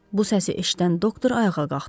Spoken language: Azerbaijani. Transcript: Bu səsi eşidən doktor ayağa qalxdı.